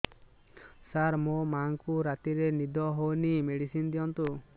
ସାର ମୋର ମାଆଙ୍କୁ ରାତିରେ ନିଦ ହଉନି ମେଡିସିନ ଦିଅନ୍ତୁ